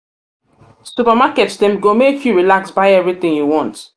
supermarket dem go make you relax buy everytin you want.